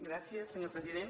gràcies senyor president